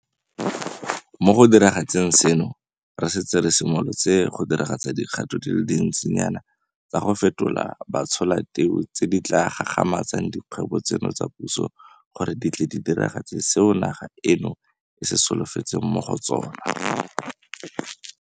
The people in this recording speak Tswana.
Mo go diragatseng seno, re setse re simolotse go diragatsa dikgato di le dintsinyana tsa go fetola batsholateu tse di tla gagamatsang dikgwebo tseno tsa puso gore di tle di diragatse seo naga eno e se solofetseng mo go tsona.